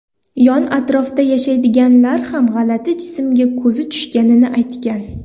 Yon-atrofda yashaydiganlar ham g‘alati jismga ko‘zi tushganini aytgan.